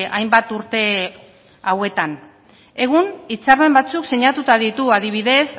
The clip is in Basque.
hainbat urte hauetan egun hitzarmen batzuk sinatuta ditu adibidez